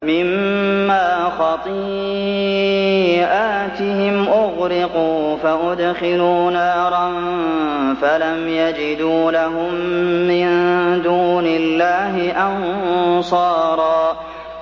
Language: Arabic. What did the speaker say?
مِّمَّا خَطِيئَاتِهِمْ أُغْرِقُوا فَأُدْخِلُوا نَارًا فَلَمْ يَجِدُوا لَهُم مِّن دُونِ اللَّهِ أَنصَارًا